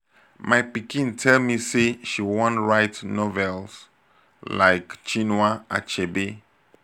my pikin tell me say she wan write novels like chinua achebe